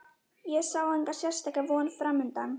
Ég sá enga sérstaka von framundan.